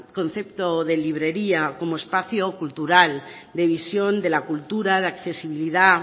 concepto de librería como espacio cultural de visión de la cultura de accesibilidad